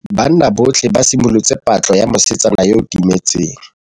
Banna botlhê ba simolotse patlô ya mosetsana yo o timetseng.